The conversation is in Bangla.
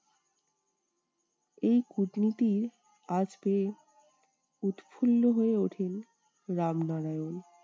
এই কূটনীতির আঁচ পেয়ে উৎফুল্ল হয়ে ওঠেন রামনারায়ণ।